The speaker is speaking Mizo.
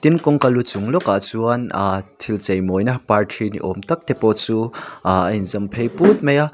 tin kawngka lu chungah lawkah chuan aa thil cheimawina parthi ni awm tak te pawh chu aa a inzawm phei put mai a.